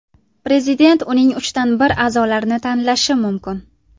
Prezident uning uchdan bir a’zolarini tanlashi mumkin.